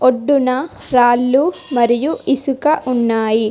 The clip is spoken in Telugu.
ఒడ్డున రాళ్లు మరియు ఇసుక ఉన్నాయి.